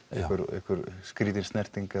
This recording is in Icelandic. einhver skrýtin snerting